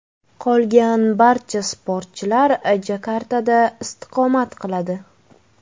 Qolgan barcha sportchilar Jakartada istiqomat qiladi.